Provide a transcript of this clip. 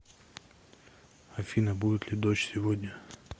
афина будет ли дождь сегодня